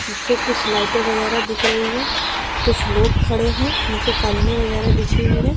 पीछे कुछ लाइटे वगैरा दिख रही है | कुछ लोग खडे है | नीचे कालीने वगैरा बीछी हुई है ।